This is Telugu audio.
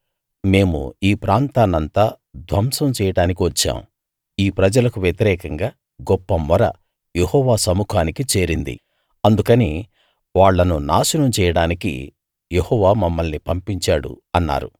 మేము ఈ ప్రాంతాన్నంతా ధ్వంసం చేయడానికి వచ్చాం ఈ ప్రజలకు వ్యతిరేకంగా గొప్ప మొర యెహోవా సముఖానికి చేరింది అందుకని వాళ్ళను నాశనం చేయడానికి యెహోవా మమ్మల్ని పంపించాడు అన్నారు